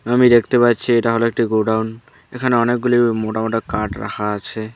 আমি দেখতে পাচ্ছি এটা হল একটি গোডাউন এখানে অনেকগুলি মোটা মোটা কাঠ রাখা আছে।